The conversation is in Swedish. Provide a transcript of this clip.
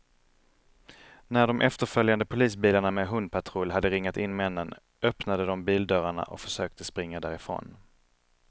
När de efterföljande polisbilarna med hundpatrull hade ringat in männen, öppnade de bildörrarna och försökte springa därifrån.